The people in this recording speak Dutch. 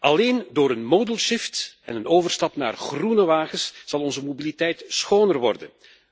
Alleen door een modal shift en een overstap naar groene wagens zal onze mobiliteit schoner worden.